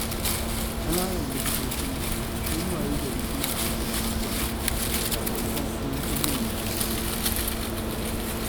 Ƙananan likitoci sun wayi gari suna aikin agaji, sakamakon ƙarancin manyan likitoci.